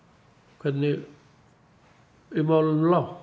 hvernig í málunum lá